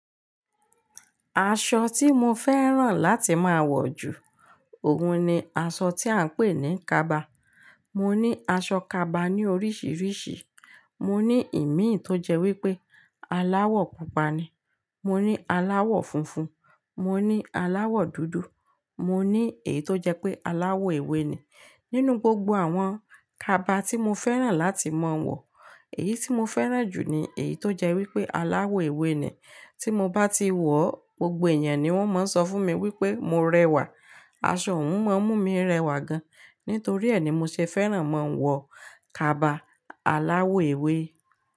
Aṣọ tí mo fẹ́ràn láti máa wọ̀ jù, òun ni aṣọ tí à ń pè ní kaba. Mo ní aṣọ kaba ní oríṣìíríṣìí, mo ní ìmin tó jẹ́ wípé aláwọ̀ pupa ni, mo ní aláwọ̀ funfun, mo ní aláwọ̀ dúdú, mo ní èyí tó jẹ́ pé aláwọ̀ ewé ni. Nínú gbogbo àwọn kaba tí mo fẹ́ràn láti máa wọ̀, èyí tí mo fẹ́ràn jù ni èyí tó jẹ́ wípé aláwọ̀ ewé ni. Tí mo bá ti wọ̀, gbogbo èèyàn ni wón máa ń sọ fún mi wípé mo rẹwà. Aṣọ òun máa ń mú mi rẹwà gan, nítorí ẹ ni mo ṣe fẹ́ràn máa ń wọ kaba aláwọ̀ ewé.